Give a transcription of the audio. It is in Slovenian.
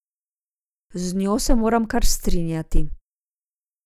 Z njo se moram kar strinjati.